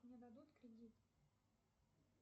мне дадут кредит